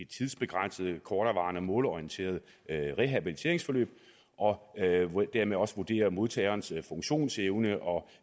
tidsbegrænset korterevarende målorienteret rehabiliteringsforløb og dermed også vurdere modtagerens funktionsevne og